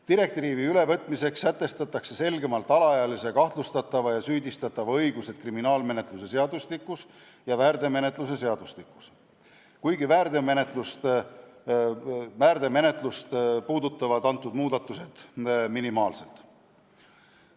Direktiivi ülevõtmiseks sätestatakse selgemalt alaealise kahtlustatava või süüdistatava õigused kriminaalmenetluse seadustikus ja väärteomenetluse seadustikus, kuigi väärteomenetlust puudutavad need muudatused minimaalselt.